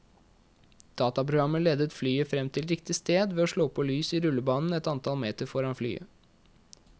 Dataprogrammet leder flyet frem til riktig sted ved å slå på lys i rullebanen et antall meter foran flyet.